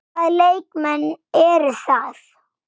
Hvaða leikmenn eru það?